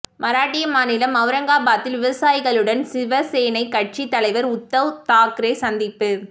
மராட்டிய மாநிலம் அவுரங்காபாத்தில் விவசாயிகளுடன் சிவசேனைக் கட்சி தலைவர் உத்தவ் தாக்கரே சந்திப்பு